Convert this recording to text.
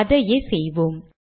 அதையே செய்வோம்